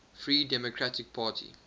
free democratic party